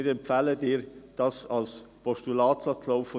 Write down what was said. Wir empfehlen Ihnen deshalb, in ein Postulat zu wandeln.